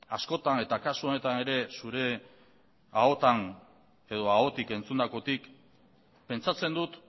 askotan eta kasu honetan ere zure ahotik entzundakotik pentsatzen dut